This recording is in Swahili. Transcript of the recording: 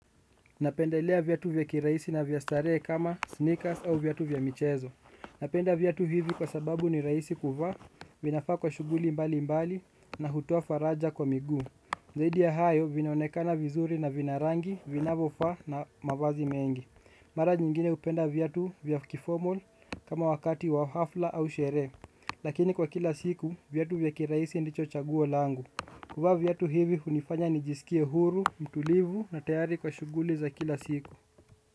Napendelea viatu vya kiraisi na vya staree kama sneakers au viatu vya michezo. Napenda viatu hivi kwa sababu ni raisi kuvaa, vinafaa kwa shuguli mbali mbali na hutoa faraja kwa miguu. Zaidi ya hayo, vinaonekana vizuri na vina rangi, vinavo faa na mavazi mengi. Mara nyingine upenda viatu vya kiformal kama wakati wa hafla au sheree. Lakini kwa kila siku, viatu vya kiraisi ndicho chaguo langu. Kuvaa viatu hivi hunifanya nijiskia huru, mtulivu na tayari kwa shuguli za kila siku.